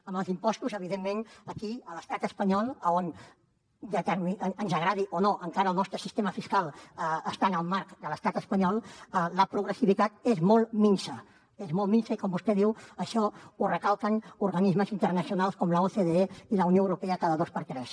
amb els impostos evidentment aquí a l’estat espanyol on ens agradi o no encara el nostre sistema fiscal està en el marc de l’estat espanyol la progressivitat és molt minsa és molt minsa i com vostè diu això ho recalquen organismes internacionals com l’ocde i la unió europea cada dos per tres